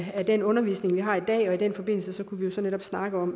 af den undervisning vi har i dag og i den forbindelse kunne vi så netop snakke om